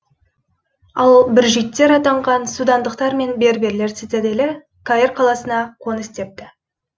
ал бүржиттер атанған судандықтар мен берберлер цитаделі каир қаласына қоныс тепті